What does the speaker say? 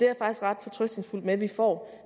er faktisk ret fortrøstningsfuld med at vi får